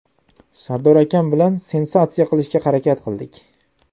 Sardor akam bilan sensatsiya qilishga harakat qildik.